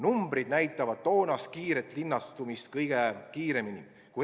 Arvud näitavad toonast kiiret linnastumist kõige paremini.